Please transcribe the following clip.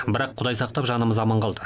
бірақ құдай сақтап жанымыз аман қалды